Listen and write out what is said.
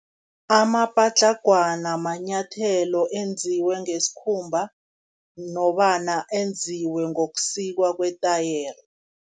Amapatlagwana manyathelo enziwe ngesikhumba, nofana enziwe ngokusikwa kwetayere.